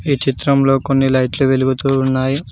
ఈ చిత్రంలో కొన్ని లైట్లు వెలుగుతూ ఉన్నాయి.